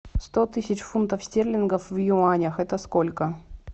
сто тысяч фунтов стерлингов в юанях это сколько